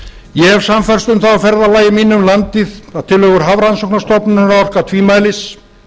ég hef sannfærst um það á ferðalagi mínu um landið að tillögur hafrannsóknastofnunar orka tvímælis